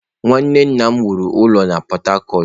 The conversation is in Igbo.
Nwanne nna m wuru ụlọ na Port-Harcourt.